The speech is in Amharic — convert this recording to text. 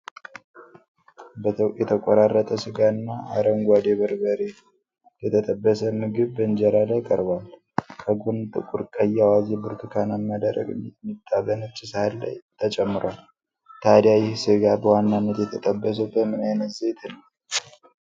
የተቆራረጠ ሥጋና አረንጓዴ በርበሬ የተጠበሰ ምግብ በኢንጀራ ላይ ቀርቧል። ከጎን ጥቁር ቀይ አዋዜ ብርቱካናማ ደረቅ ሚጥሚጣ በነጭ ሳህን ላይ ተጨምሯል። ታዲያ ይህ ሥጋ በዋናነት የተጠበሰው በምን ዓይነት ዘይት ነው?